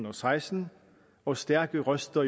og seksten og stærke røster